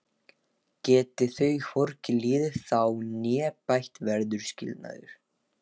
Geti þau hvorki liðið þá né bætt verður skilnaður.